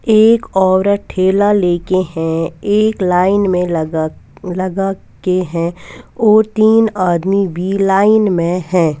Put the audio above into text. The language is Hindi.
एक औरत ढेला ले के है एक लाइन में लगा लगा के है और तीन आदमी भी लाइन में है।